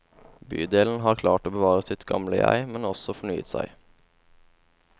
Bydelen har klart å bevare sitt gamle jeg, men også fornyet seg.